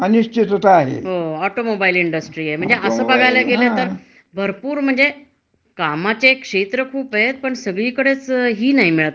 नाही. काही काही चांगल्या कंपन्या आहेत, टाटा वगेरे, हं तर ते आपल्या नोकरांना चांगल्या सोयीसवलती देतात. हं, आणि सहसः म्हणजे